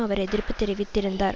அவர் எதிர்ப்பு தெரிவித்தார்